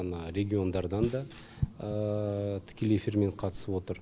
ана региондардан да тікелей эфирмен қатысып отыр